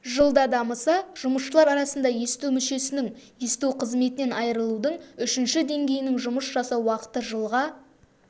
жылда дамыса жұмысшылар арасында есту мүшесінің есту қызметінен айырылудың үшінші деңгейінің жұмыс жасау уақыты жылға